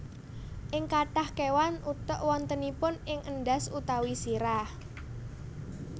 Ing kathah kéwan utek wontenipun ing endhas utawi sirah